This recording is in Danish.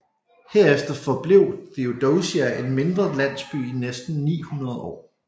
Herefter forblev Theodosia en mindre landsby i næsten 900 år